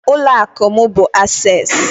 Ụlọ akụ mu bu Access